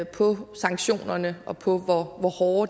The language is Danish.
på sanktionerne og på hvor hårde